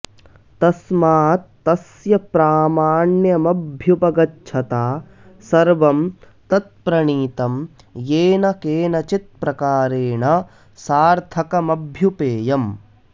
तस्मात तस्य प्रामाण्यमभ्युपगच्छता सर्वं तत्प्रणीतं येन केनचित् प्रकारेण सार्थकमभ्युपेयम्